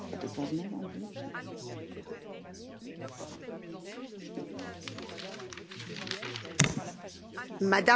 Madame la Présidente, mes chers collègues, je tenais ce jour à marquer de mes mots l'histoire mémorielle des peuples européens.